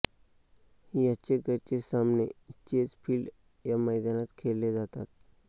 याचे घरचे सामने चेझ फील्ड या मैदानात खेळले जातात